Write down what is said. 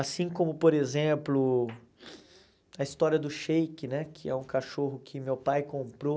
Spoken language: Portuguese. Assim como, por exemplo, a história do Sheik né, que é um cachorro que meu pai comprou.